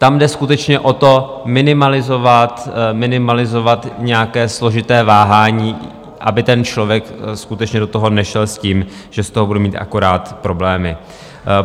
Tam jde skutečně o to, minimalizovat nějaké složité váhání, aby ten člověk skutečně do toho nešel s tím, že z toho bude mít akorát problémy.